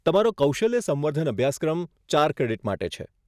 તમારો કૌશલ્ય સંવર્ધન અભ્યાસક્રમ ચાર ક્રેડિટ માટે છે.